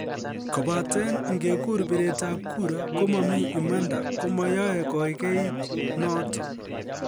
Kobaten ngegur biret ab kura, komomi imanda komoyoe koigeit noton.